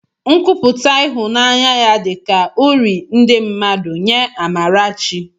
Nkwupụta ịhụnanya ya dị ka uri ndị mmadụ nye Amarachi